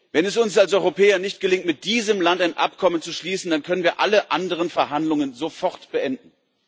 Wenn es uns als Europäer nicht gelingt, mit diesem Land ein Abkommen zu schließen, dann können wir alle anderen Verhandlungen sofort beenden.